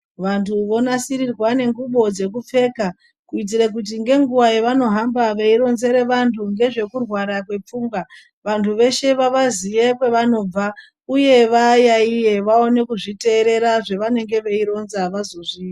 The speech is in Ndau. Vantu vonasirirwa ngengubo dzekupfeka kuitire kuti ngenguwa yavanohamba veironzere vantu ngezvekurwara kwepfungwa vantu veshe vavaziye kwevanobva uye vayaiye vaone kuzviteerera zvavanenge veironza vazozvi